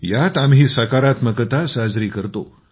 यात आम्ही सकारात्मकता साजरी करतो